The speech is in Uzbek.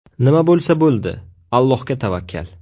Nima bo‘lsa bo‘ldi, Allohga tavakkal.